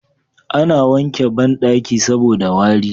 A na wanke banɗaki saboda wari